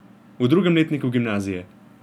V drugem letniku gimnazije.